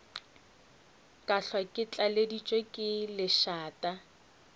ka hlwa re tlaleditšwe lešata